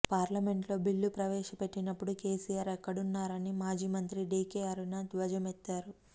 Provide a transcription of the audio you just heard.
పార్లమెంట్లో బిల్లు ప్రవేశపెట్టినపుడు కేసీఆర్ ఎక్కడున్నారని మాజీ మంత్రి డీకే అరుణ ధ్వజమెత్తారు